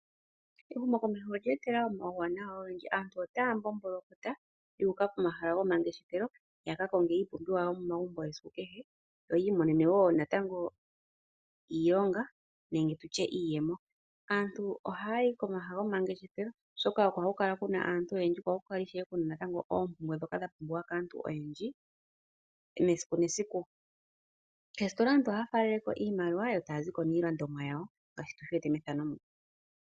Ehumokomeho olye etelela omawuwanawa ogendji .Aantu otaya mbomboloka yu uka komahala go mangeshefelo ya ka konge iipumbiwa yo momagumbo yesiku kehe yo yi imonene natango iilongo nenge tutye iiyemo . Aantu ohaya yi komahala gomangeshefelo oshoka omo haku kala kuna aantu oyendji ko oko ishewe kuna oompumbwe dhoka dhapumbiwa kaantu oyendji esiku nesiku . Koositola aantu ohaya faaleleko iimaliwa yo taya zi ko niilandomwa yawo